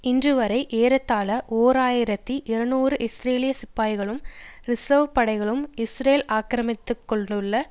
இன்றுவரை ஏறத்தாழ ஓர் ஆயிரத்தி இருநூறு இஸ்ரேலிய சிப்பாய்களும் ரிசர்வ் படைகளும் இஸ்ரேல் ஆக்கிரமித்து கொண்டுள்ள